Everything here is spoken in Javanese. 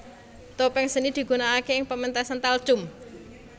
Topeng seni digunakake ing pementasan talchum